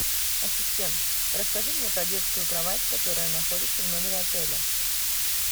ассистент расскажи мне про детскую кровать которая находится в номере отеля